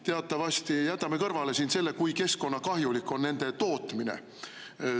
Teatavasti jätame kõrvale selle, kui keskkonnakahjulik on nende tootmine.